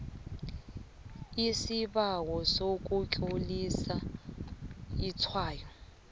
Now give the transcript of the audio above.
isibawo sokutlolisa itshwayo